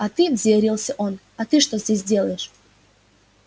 а ты взъярился он а ты что здесь делаешь